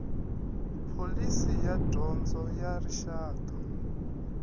pholisi ya dyondzo ya rixaka